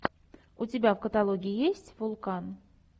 у тебя в каталоге есть вулкан